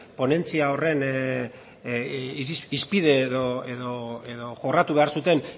ponentzia horren hizpide edo jorratu behar zuten